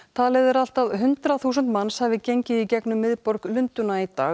talið er að allt að hundrað þúsund manns hafi gengið í gegnum miðborg Lundúna í dag